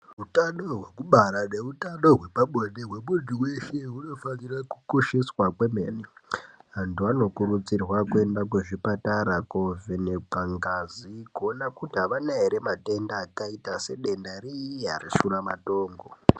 Hutano hwekubara neutano hwepabonde hwemuntu weshe hunofanire kukosheswa kwemene, antu anokurudzirwa kuenda kuzvipatara kunovhenekwa ngazi kuona kuti havana here matenda akaita sedenda riya reshuramatongo.